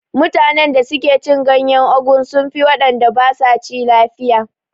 Mutanen da suke cin ganyen ugu sun fi wanda basa ci lafiya